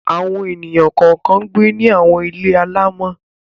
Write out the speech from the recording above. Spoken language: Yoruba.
Àwọn ènìyàn kọ̀ọ̀kan ń gbé ní àwọn ilé alaámọ̀.